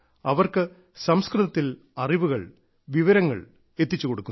അവർക്ക് സംസ്കൃതത്തിൽ അറിവുകൾ വിവരങ്ങൾ എത്തിച്ചു കൊടുക്കുന്നു